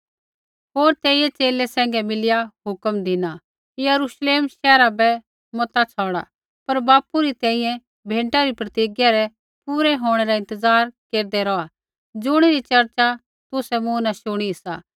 होर तेइयै च़ेले सैंघै मिलिया हुक्म धिना यरूश्लेम शैहरा बै मता छ़ौड़ा पर बापू री तेई भेंटा री प्रतिज्ञा रै पूरै होंणै रा इंतज़ार केरदै रौहा ज़ुणिरी चर्चा तुसै मूँ न शुणी सा